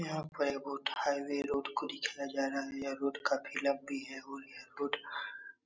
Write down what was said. यहाॅं पर ये बहुत हाईवे रोड को दिखाया जा रहा है। यह रोड काफ़ी लंबी है और ये रोड --